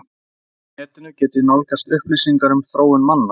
Hvar á netinu get ég nálgast upplýsingar um þróun manna?